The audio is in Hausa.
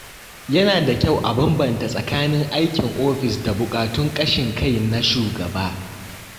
Yana da kyau a bambanta tsakanin aikin ofis da buƙatun ƙashin kai na shugaba.